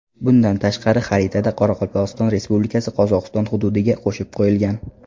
Bundan tashqari, xaritada Qoraqalpog‘iston Respublikasi Qozog‘iston hududiga qo‘shib qo‘yilgan.